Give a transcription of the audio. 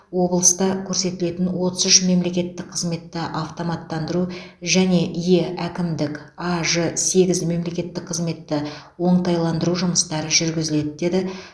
облыста көрсетілетін отыз үш мемлекеттік қызметті автоматтандыру және е әкімдік аж сегіз мемлекеттік қызметті оңтайландыру жұмыстары жүргізіледі деді